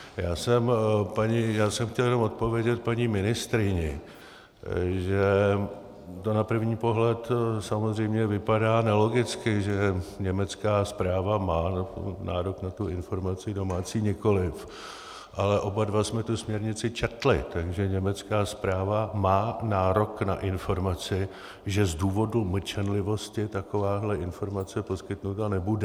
Já jsem chtěl jenom odpovědět paní ministryni, že to na první pohled samozřejmě vypadá nelogicky, že německá správa má nárok na tu informaci, domácí nikoliv, ale oba dva jsme tu směrnici četli, takže německá správa má nárok na informaci, že z důvodu mlčenlivosti takováhle informace poskytnuta nebude.